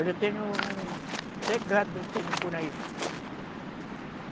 Olha, eu tenho um... Até gado eu tenho por aí.